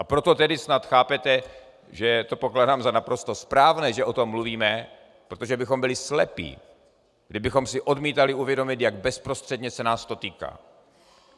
A proto tedy snad chápete, že to pokládám za naprosto správné, že o tom mluvíme, protože bychom byli slepí, kdybychom si odmítali uvědomit, jak bezprostředně se nás to týká.